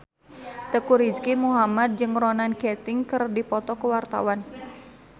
Teuku Rizky Muhammad jeung Ronan Keating keur dipoto ku wartawan